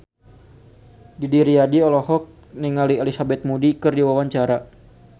Didi Riyadi olohok ningali Elizabeth Moody keur diwawancara